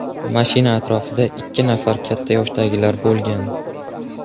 Mashina atrofida ikki nafar katta yoshdagilar bo‘lgan.